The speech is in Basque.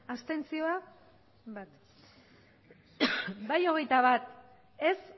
abstentzioak bai hogeita bat ez